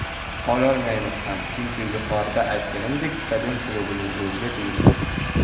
Ololmaymiz ham, chunki yuqorida aytganimdek, stadion klubning o‘ziga tegishli.